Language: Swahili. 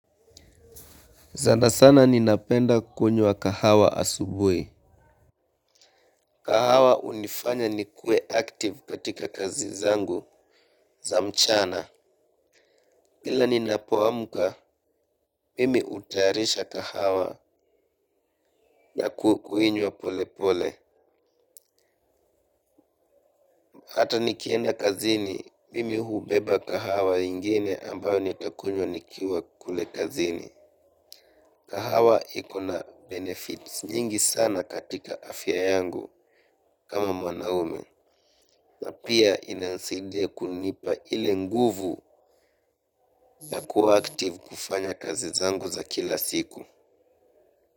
Zana sana ni napenda kunywa kahawa asubuhi. Kahawa hunifanya ni kue active katika kazi zangu za mchana. Kila ni napoamka, mimi utaharisha kahawa na kuinywa pole pole. Hata nikienda kazini, mimi hubeba kahawa ingine ambayo nitakunywa nikiwa kule kazini. Kahawa ikona benefits nyingi sana katika afya yangu kama mwanaume. Na pia inanisaidia kunipa ile nguvu na kuwa active kufanya kazi zangu za kila siku.